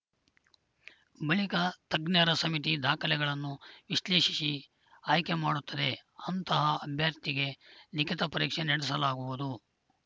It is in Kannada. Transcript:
ಬಳಿಕ ತಜ್ಞರ ಸಮಿತಿ ದಾಖಲೆಗಳನ್ನು ವಿಶ್ಲೇಷಿಸಿ ಆಯ್ಕೆ ಮಾಡುತ್ತದೆ ಅಂತಹ ಅಭ್ಯರ್ಥಿಗೆ ಲಿಖಿತ ಪರೀಕ್ಷೆ ನಡೆಸಲಾಗುವುದು